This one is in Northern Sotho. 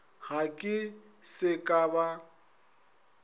ge ke se ka ba